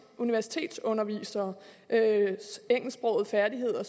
universitetsunderviseres engelsksprogede færdigheder